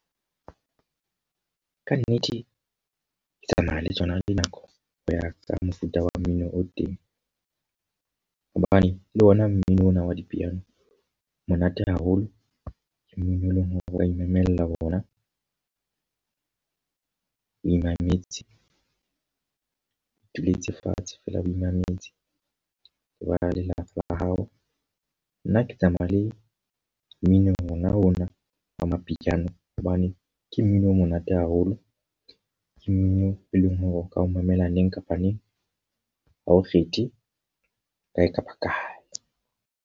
Ka nnete, ke tsamaya le tsona le nako ho ya ka mofuta wa mmino o teng. Hobane le ona mmino ona wa dipiano o monate haholo. Ke mmino e leng hore ho imamela wona, o imametse ituletse fatshe feela bo imametse le ba lelapa la hao. Nna ha ke tsamaya le mmino ona ona wa mapiano hobane ke mmino o monate haholo. Ke mmino e leng hore o ka o mamela neng kapa neng ha o kgethe, kae kapa kae.